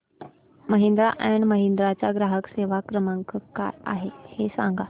Mahindra and Mahindra चा ग्राहक सेवा क्रमांक काय आहे हे सांगा